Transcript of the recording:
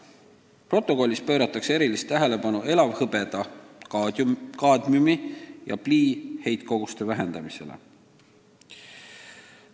Protokollis pööratakse erilist tähelepanu elavhõbeda, kaadmiumi ja plii heitkoguste vähendamisele.